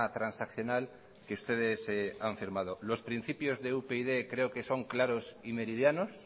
transaccional que ustedes han firmado los principios de upyd creo que son claros y meridianos